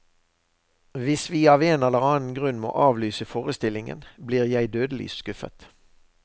Hvis vi av en eller annen grunn må avlyse forestillingen, blir jeg dødelig skuffet.